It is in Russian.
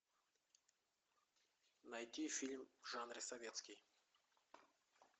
найти фильм в жанре советский